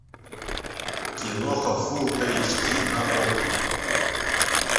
киноха фул эйч ди на окко